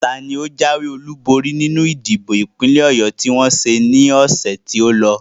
Taani o jáwé olúborí nínú ìdìbò ìpínlẹ̀ Ọ̀yọ tí wọ́n ṣe ní ọ̀sẹ̀ tí o lọ?